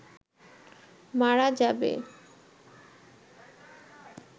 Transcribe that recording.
মারা যাবে